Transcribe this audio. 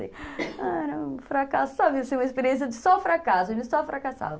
Era um fracasso, sabe, assim, uma experiência de só fracasso, a gente só fracassava.